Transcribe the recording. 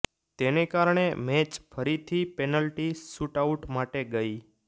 તેને કારણે મેચ ફરીથી પેનલ્ટી શુટઆઉટ માટે ગઇ